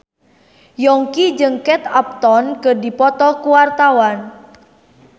Yongki jeung Kate Upton keur dipoto ku wartawan